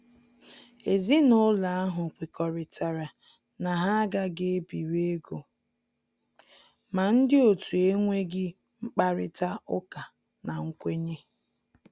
Ezinúlọ̀ ahụ̀ kwekọrịtara na ha agàghị ebiri égò ma ndị otu ènwèghị mkpárịtà ụ́kà na nkwènyé